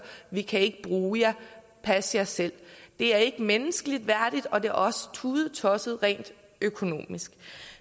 vi kan ikke bruge jer pas jer selv det er ikke menneskelig værdigt og det er også tudetosset rent økonomisk